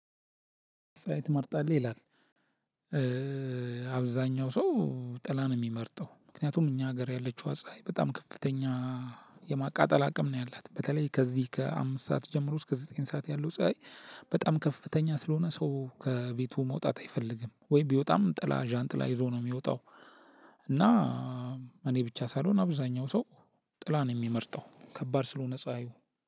ፀሀይ ትመርጣለህ ይላል አብዛኛው ሰው ጥላ ነው ሚመርጠው ምክንያቱም እኛ ሀገር ያለችው ፀሀይ በጣም ከፍተኛ የማቃጠል አቅም ነው ያላት በተለይ ከዚህ ከአምስት ሰዓት ጀምሮ እስከ ዘጠኝ ሰዓት ያለው ፀሀይ በጣም ከፍተኛ ስለሆነ ሰው ከቤቱ መውጣት አይፈልግም። ወይ ቢወጣም ጥላ ዣንጥላ ይዞ ነው የሚወጣው። እና እኔ ብቻ ሳልሆን አብዛኛው ሰው ጥላ ነው የሚመርጠው ከባድ ስለሆነ ፀሀዩ።